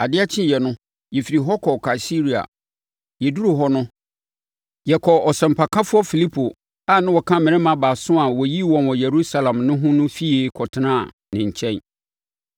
Adeɛ kyeeɛ no, yɛfirii hɔ kɔɔ Kaesarea. Yɛduruu hɔ no, yɛkɔɔ ɔsɛmpakafoɔ Filipo a na ɔka mmarima baason a wɔyii wɔn wɔ Yerusalem no ho no fie kɔtenaa ne nkyɛn.